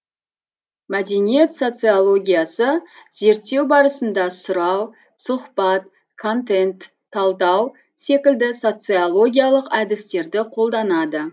мәдениет социологиясы зерттеу барысында сұрау сұхбат контент талдау секілді социологиялық әдістерді қолданады